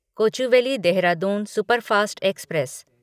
Kochuveli Dehradun superfast express